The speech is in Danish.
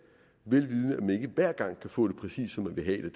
vel vidende ikke hver gang kan få det præcist som man vil have